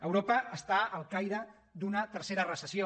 europa està al caire d’una tercera reces·sió